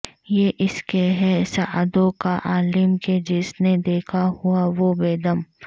یہ اسکے ہے ساعدوں کا عالم کہ جس نے دیکھا ہوا وہ بیدم